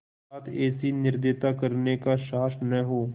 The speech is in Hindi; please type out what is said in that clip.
साथ ऐसी निर्दयता करने का साहस न हो